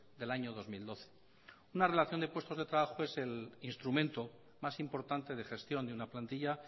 del año dos mil doce una relación de puestos de trabajo es el instrumento más importante de gestión de una plantilla